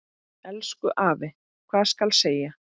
Elsku afi, hvað skal segja.